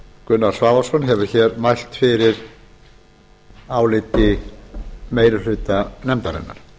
gunnar svavarsson hefur mælt fyrir áliti meiri hluta nefndarinnar